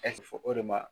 fɔ o de ma